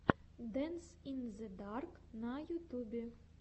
дэнс ин зе дарк на ютьюбе